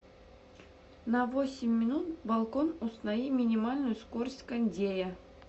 на восемь минут балкон установи минимальную скорость кондея